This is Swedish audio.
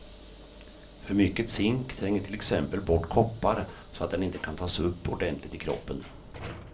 För mycket zink tränger till exempel bort koppar, så att den inte kan tas upp ordentligt i kroppen.